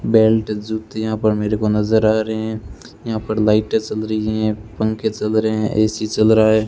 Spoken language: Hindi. बेल्ट जूते यहां पर मेरेको नजर आ रहें हैं यहां पर लाइटे चल रही है पंखे चल रहें है ए_सी चल रहा है।